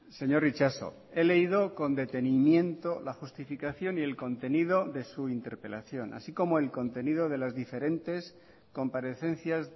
señor itxaso he leído con detenimiento la justificación y el contenido de su interpelación así como el contenido de las diferentes comparecencias